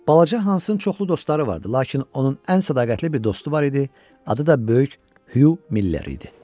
Balaca Hansın çoxlu dostları vardı, lakin onun ən sədaqətli bir dostu var idi, adı da Böyük Hüv Miller idi.